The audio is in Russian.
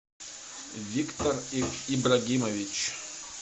виктор ибрагимович